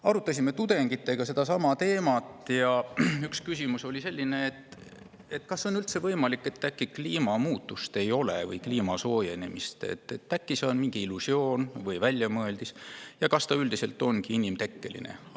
Arutasime tudengitega seda teemat ja üks küsimus oli selline: kas on võimalik, et äkki kliimamuutust või kliimasoojenemist ei olegi, äkki see on mingi illusioon või väljamõeldis ja kas ta üldiselt ongi inimtekkeline?